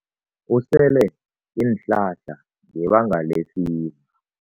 Usele iinhlahla ngebanga lefiva.